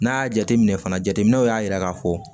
N'a y'a jateminɛ fana jateminɛw y'a yira k'a fɔ